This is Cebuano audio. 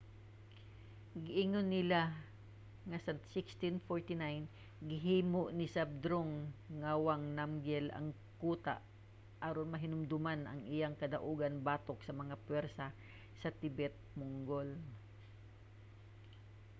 giingon nila nga sa 1649 gihimo ni zhabdrung ngawang namgyel ang kuta aron mahinumduman ang iyang kadaugan batok sa mga pwersa sa tibet-mongol